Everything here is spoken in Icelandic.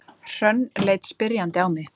Hrönn leit spyrjandi á mig.